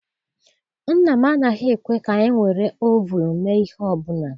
Nna m anaghị ekwe ka anyị were ovunu mee ihe ọbụla.